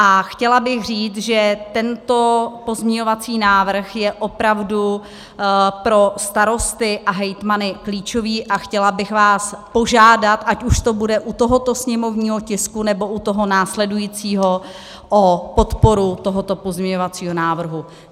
A chtěla bych říct, že tento pozměňovací návrh je opravdu pro starosty a hejtmany klíčový, a chtěla bych vás požádat, ať už to bude u tohoto sněmovního tisku, nebo u toho následujícího, o podporu tohoto pozměňovacího návrhu.